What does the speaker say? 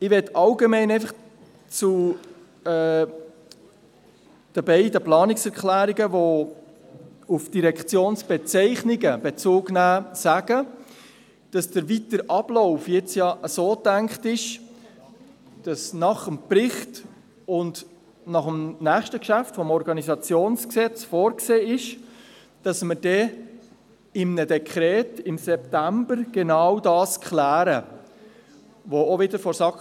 Ich möchte allgemein zu den beiden Planungserklärungen, die auf die Direktionsbezeichnungen Bezug nehmen, sagen, dass der weitere Ablauf jetzt so gedacht ist, dass nach dem Bericht und nach dem nächsten Geschäft, dem Gesetz über die Organisation des Regierungsrates und der Verwaltung (Organisationsgesetz, OrG), vorgesehen ist, dass wir im September genau dies in einem Dekret klären.